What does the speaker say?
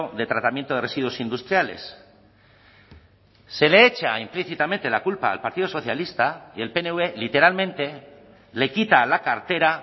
de tratamiento de residuos industriales se le echa implícitamente la culpa al partido socialista y el pnv literalmente le quita la cartera